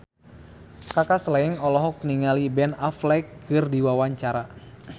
Kaka Slank olohok ningali Ben Affleck keur diwawancara